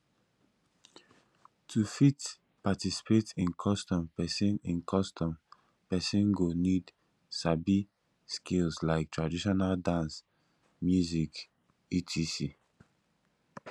to fit participate in customs persin in customs persin go need sabi skills like traditional dance music etc